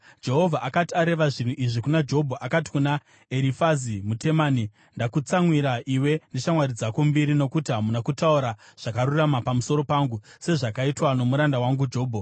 Jehovha akati areva zvinhu izvi kuna Jobho, akati kuna Erifazi muTemani, “Ndakakutsamwira iwe neshamwari dzako mbiri, nokuti hamuna kutaura zvakarurama pamusoro pangu, sezvakaitwa nomuranda wangu Jobho.